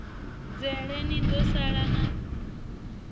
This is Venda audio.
dzhele ni do sala na